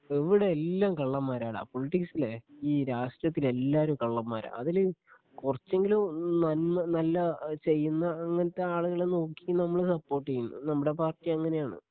ഇവിടെ എല്ലാം കള്ളന്മാരാടാ ഈ രാഷ്ട്രീയത്തില് എല്ലാവരും കള്ളന്മാരാ അതില് കുറച്ചെങ്കിലും നന്മ നല്ല ആ ചെയ്യുന്ന അങ്ങനത്തെ ആളുകളെ നോക്കി നമ്മള് സപ്പോർട്ട് ചെയ്യും നമ്മുടെ പാർട്ടി അങ്ങനെയാണ്.